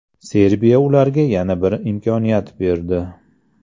Serbiya ularga yana bir imkoniyat berdi.